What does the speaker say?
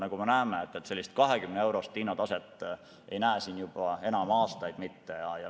Nagu me näeme, 20-eurost hinnataset ei näe me enam aastaid.